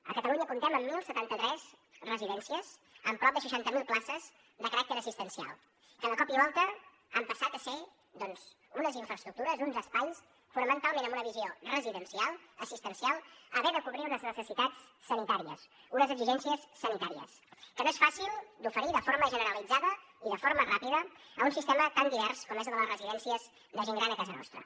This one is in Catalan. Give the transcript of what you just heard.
a catalunya comptem amb deu setanta tres residències amb prop de seixanta mil places de caràcter assistencial que de cop i volta han passat de ser doncs unes infraestructures uns espais fonamentalment amb una visió residencial assistencial a haver de cobrir unes necessitats sanitàries unes exigències sanitàries que no és fàcil d’oferir de forma generalitzada i de forma ràpida a un sistema tan divers com és el de les residències de gent gran a casa nostra